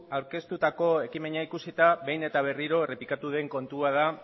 aurkeztutako ekimena ikusita behin eta berriro errepikatu den kontua da